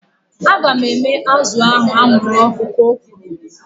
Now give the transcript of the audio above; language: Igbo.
Aga m eme azụ ahu anwụrụ ọkụ ka o kwuru